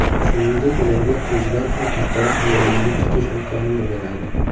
Shuningdek ularga o‘zidan ham kattaroq hayvonlarni tutish imkonini beradi.